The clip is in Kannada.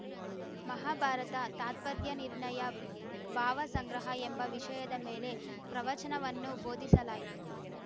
ಮಹಾಭಾರತ ತಾತ್ಪರ್ಯನಿರ್ಣಯ ಭಾವಸಂಗ್ರಹ ಎಂಬ ವಿಷಯದ ಮೇಲೆ ಪ್ರವಚನವನ್ನು ಬೋಧಿಸಲಾಯಿತು